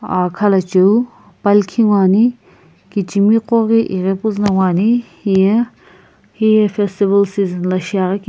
ah khalocheu palkhi nguo ane kijimigo ghi ighi puzu no nguo ane heye heye festival season la shiagini.